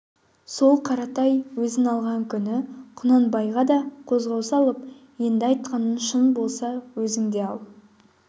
сол қаратай өзі алған күні құнанбайға да қозғау салып енді айтқаның шын болса өзің де ал